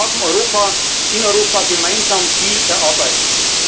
Und wir haben in Europa gemeinsam viel erarbeitet.